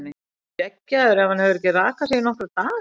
Er hann skeggjaður ef hann hefur ekki rakað sig í nokkra daga?